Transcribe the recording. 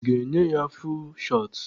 I ga-enye ya fuul shọt?